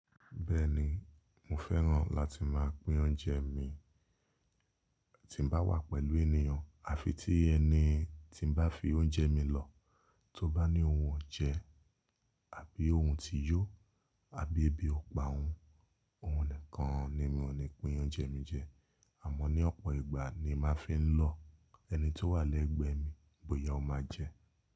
Bẹ́ẹ̀ni, mo fẹ́ràn láti máa pín oúnjẹ mi tí n bá wà pẹ̀lú ènìyàn àfi tí ẹni tí n bá fi oúnjẹ mi lọ tó bá ní ohun ọ̀jẹ̀ àbí ohun ti yó àbí ebi ò pa óun, òhun nìkan ni mi ò ní pín oúnjẹ mi jẹ. Àmọ́ ní ọ̀pọ̀ ìgbà ni mo máa fi ń lọ ẹni tó wà lẹ́gbẹ̀ẹ́ mi bóyá ó máa jẹ.